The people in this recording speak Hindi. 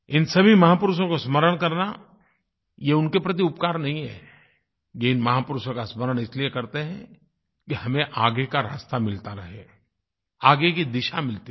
इन सभी महापुरुषों को स्मरण करना ये उनके प्रति उपकार नहीं है ये महापुरुषों का स्मरण इसलिए करते हैं कि हमें आगे का रास्ता मिलता रहे आगे की दिशा मिलती रहे